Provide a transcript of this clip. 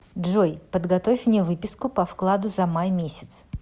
джой подготовь мне выписку по вкладу за май месяц